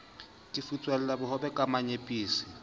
ke futswela bohobe ka menyepetsi